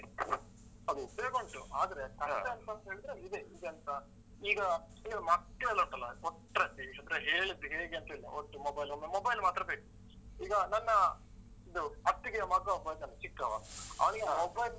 ಹೌದು ಉಪಯೋಗ ಉಂಟು ಆದ್ರೆ ಕಷ್ಟ ಅಂತ ಹೇಳಿದ್ರೆ ಇದೆ, ಇದೆ ಎಂತ ಈಗ ಇದು ಮಕ್ಕಳೆಲ್ಲ ಉಂಟಲ್ಲಾ ಕೊಟ್ರೆ ಹೇಳಿದ್ದು ಹೇಗೆ ಅಂತ ಇಲ್ಲ ಒಟ್ಟು mobile ಒಮ್ಮೆ mobile ಮಾತ್ರ ಬೇಕು. ಈಗ ನನ್ನ ಇದು ಅತ್ತಿಗೆಯ ಮಗ ಒಬ್ಬ ಇದ್ದಾನೆ ಚಿಕ್ಕವ ಅವ್ನಿಗೆ mobile